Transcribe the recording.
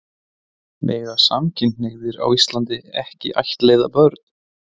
Mega samkynhneigðir á Íslandi ekki ættleiða börn?